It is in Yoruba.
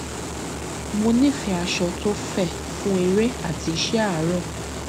mo nífẹẹ aṣọ tó fẹ fún eré àti iṣẹ àárọ